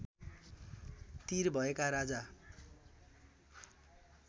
तिर भएका राजा